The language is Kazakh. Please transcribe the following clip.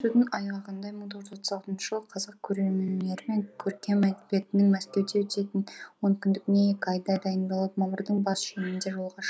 айғағындай мың тоғыз жүз отыз алтыншы жылы қазақ көркемөнері мен көркем әдебиетінің мәскеуде өтетін онкүндігіне екі айдай дайындалып мамырдың бас шенінде жолға